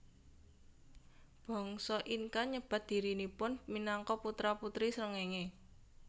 Bangsa Inca nyebat dhirinipun minangka putra putri srengéngé